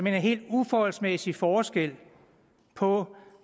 en helt uforholdsmæssig forskel på